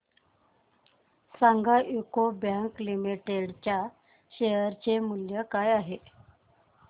सांगा UCO bank limited च्या share चे मूल्य काय आहे